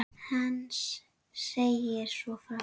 Heinz segir svo frá: